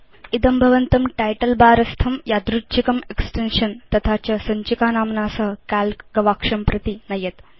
इदं भवन्तं title bar स्थं यादृच्छिकं एक्सटेन्शन् तथा च सञ्चिका नाम्ना सह काल्क गवाक्षं प्रति नयेत्